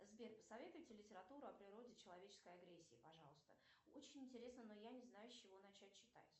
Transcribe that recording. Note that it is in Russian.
сбер посоветуйте литературу о природе человеческой агрессии пожалуйста очень интересно но я не знаю с чего начать читать